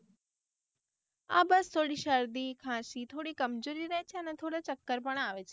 આ બસ થોડી શરદી ખાંસી થોડી કમજોરી રેહ છે અને થોડા ચક્કર પણ આવે છે